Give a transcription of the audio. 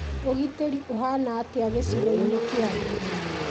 ũgitĩri ũhana atĩa gĩcigo-inĩ kĩanyu?